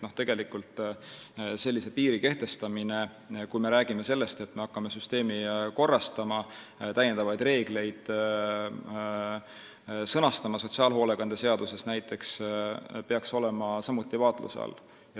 Nii et sellise piiri kehtestamine, kui me räägime sellest, et me hakkame süsteemi korrastama, täiendavaid reegleid näiteks sotsiaalhoolekande seaduses sõnastama, peaks olema samuti vaatluse all.